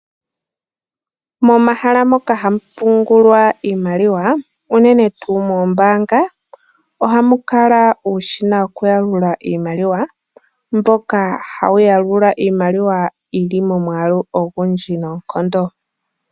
Momahala moka hamu pungulwa iimaliwa, unene tuu moombaanga, ohamu kala uushina woku yalula iimaliwa, mboka hawu yalula iimaliwa yili momwaalu ogundji noonkondo.